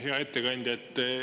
Hea ettekandja!